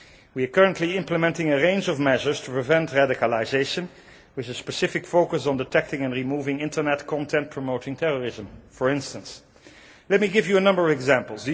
We are currently implementing a range of measures to prevent radicalisation with a specific focus on detecting and removing internet content promoting terrorism, for instance. Let me give you a number of examples.